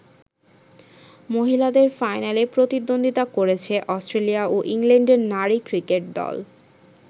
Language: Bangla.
মহিলাদের ফাইনালে প্রতিদ্বন্দ্বিতা করেছে অস্ট্রেলিয়া ও ইংল্যান্ডের নারী ক্রিকেট দল।